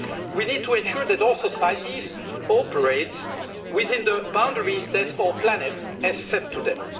We need to ensure that all societies operate within the boundaries that our planet has set for them.